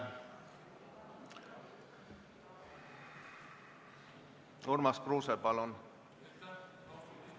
Urmas Kruuse, palun!